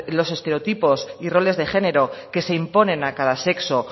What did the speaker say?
los estereotipos y roles de género que se imponen a cada sexo